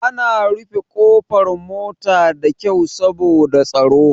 Ana rufe ƙofar mota da kyau saboda tsaro.